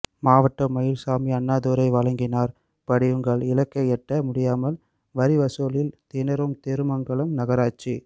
மாவட்டம் மயில்சாமி அண்ணாத்துரை வழங்கினார் படியுங்கள் இலக்கை எட்ட முடியாமல் வரிவசூலில் திணறும் திருமங்கலம் நகராட்சி